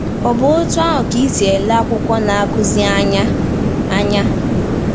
Ọ̀ bụ otú ahụ ka ị si ele akwụkwọ Na-akụzi anya? anya?